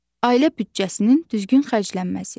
Ailə büdcəsinin düzgün xərclənməsi.